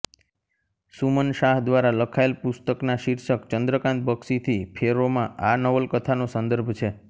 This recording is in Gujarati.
સુમન શાહ દ્વારા લખાયેલ પુસ્તકના શિર્ષક ચંદ્રકાન્ત બક્ષીથી ફેરોમાં આ નવલકથાનો સંદર્ભ છે